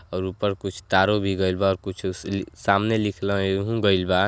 और ऊपर कुछ तारों भी गईल बा और कुछ सी सामने लिखल गईल बा।